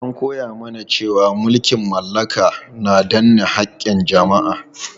An koya mana cewa mulkin mallaka na danne haƙƙin jama'a.